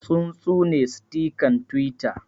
Tsuntsune sitikan Twitter